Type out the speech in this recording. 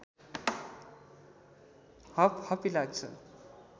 हपहपी लाग्छ